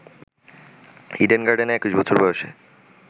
Eden গার্ডেনে ২১ বছর বয়সে